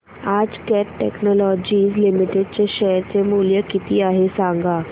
आज Cat technologies limited चे share चे मूल्य किती आहे सांगा